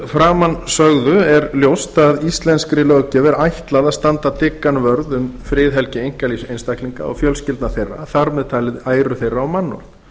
framansögðu er ljóst að íslenskri löggjöf er ætlað að standa dyggan vörð um friðhelgi einkalífs einstaklinga og fjölskyldna þeirra þar með talið æru þeirra og